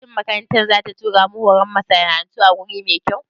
Shin makarantar za ta tura mu yin horon masana'antu a wuri mai kyau?